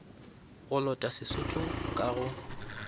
go lota sesotho ka go